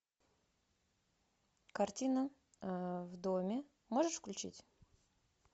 картина в доме можешь включить